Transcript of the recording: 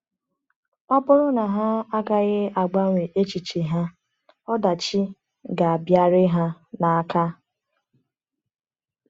Ọ bụrụ na ha agaghị agbanwe echiche ha, ọdachi ga-abịarị ha n’aka.